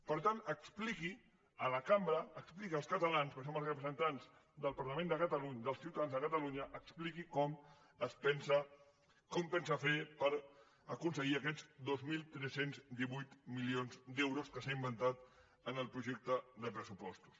per tant expliqui a la cambra expliqui als catalans perquè som els representants dels ciutadans de catalunya expliqui com pensa fer ho per aconseguir aquests dos mil tres cents i divuit milions d’euros que s’ha inventat en el projecte de pressupostos